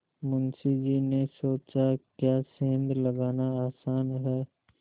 मुंशी जी ने सोचाक्या सेंध लगाना आसान है